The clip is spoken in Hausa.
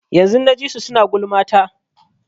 Yanzun na ji su suna gulma ta.